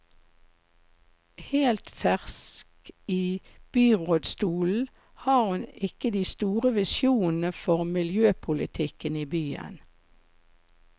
Helt fersk i byrådsstolen har hun ikke de store visjonene for miljøpolitikken i byen.